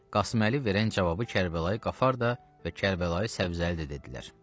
Qasım Əli verən cavabı Kərbəlayı Qafar da və Kərbəlayı Səbzəli də dedilər.